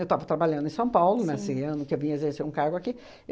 Eu tava trabalhando em São Paulo, nesse ano que eu vim exercer um cargo aqui.